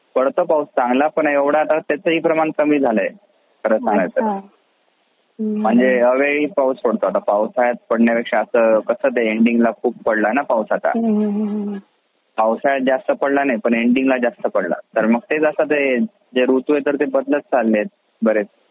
पडतो पाऊस चांगला पण आता त्याचा पण प्रमाण जास्त झाला आहे. म्हणजे अवेळी पाऊस पडतो म्हणजे पावसाळ्या पेक्षा असा कसा ना एंडिंग ला खूप पडला ना पाऊस आता. पावसाळ्यात जास्त नाही पडला पण एंडिंग ला जास्त पडला जास्त तर मग तेच ऋतू आहे ते बदलत चालले आहे बरेच.